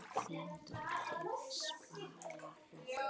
Þín dóttir, Svala Hrönn.